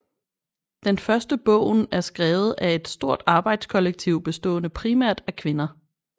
Den første bogen er skrevet af et stort arbejdskollektiv bestående primært af kvinder